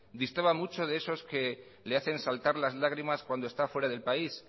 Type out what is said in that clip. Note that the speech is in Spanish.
distaba mucho de esos que le hacen saltar las lágrimas cuando está fuera del país